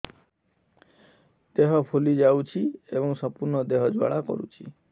ଦେହ ଫୁଲି ଯାଉଛି ଏବଂ ସମ୍ପୂର୍ଣ୍ଣ ଦେହ ଜ୍ୱାଳା କରୁଛି